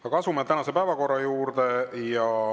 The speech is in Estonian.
Aga asume tänase päevakorra juurde.